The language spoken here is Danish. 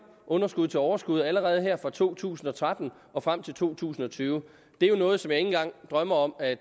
underskud til overskud allerede her fra to tusind og tretten og frem til to tusind og tyve det er jo noget som engang drømmer om at